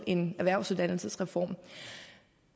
en erhvervsuddannelsesreform